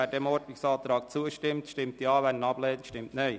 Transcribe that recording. Wer dem Ordnungsantrag zustimmt, stimmt Ja, wird diesen ablehnt, stimmt Nein.